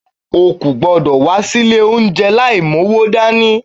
O kò gbúdọ̀ wá sí ilé oúnjẹ láì mú owó dání.